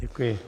Děkuji.